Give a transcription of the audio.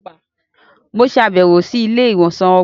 Mo ṣabẹwo si ilé-ìwosan ọgbà